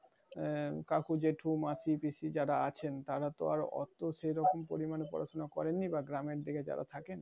আহ কাকু জেঠু মাসি পিসি যারা আছেন তারা তো আর অত পড়াশোনা করেননি বা গ্রামের দিকে যারা থাকেন